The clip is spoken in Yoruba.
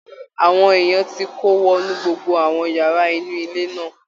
Àwọn èèyàn ti kó wọnú gbogbo àwọn yàrá inú ilé náà